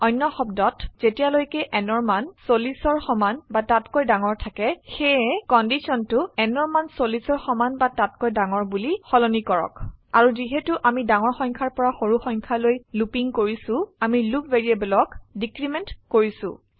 অন্য শব্দত যেতিয়ালৈকে nঅৰ মান 40অৰ সমান বা তাতকৈ ডাঙৰ থাকে সেয়ে কন্ডিশনটো nঅৰ মান 40অৰ সমান বা তাতকৈ ডাঙৰ বোলি সলনি কৰক আৰু যিহেতু আমি ডাঙৰ সংখ্যাৰ পৰা সৰু সংখ্যালৈ লুপিং কৰিছো আমি লুপ ভ্যাৰিয়েবলক ডিক্ৰিমেন্ট কৰিছো